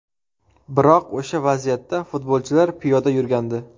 Biroq o‘sha vaziyatda futbolchilar piyoda yurgandi.